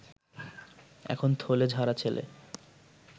এখন থলে ঝাড়া ছেলে